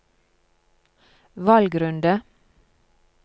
valgrunde